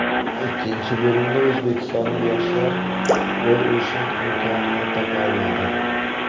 Ikkinchi bo‘limda o‘zbekistonlik yoshlar gol urishning imkonini topa olmadi.